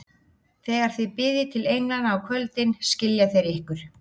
Þegar þið biðjið til englanna á kvöldin, skilja þeir ykkur.